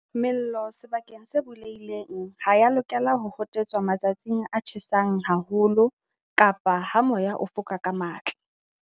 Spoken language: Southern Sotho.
Mello sebakeng se bulehileng ha e ya lokela ho hotetswa matsatsing a tjhesang haho lo kapa ha moya o foka ka matla.